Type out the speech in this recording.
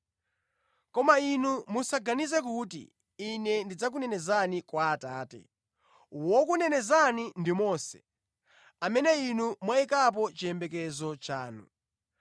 “Koma inu musaganize kuti Ine ndidzakunenezani kwa Atate. Wokunenezani ndi Mose, amene inu mwayikapo chiyembekezo chanu.